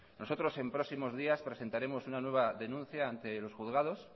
nosotros en próximos días presentaremos una nueva denuncia ante los juzgados